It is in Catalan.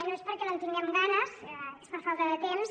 no és perquè no en tinguem ganes és per falta de temps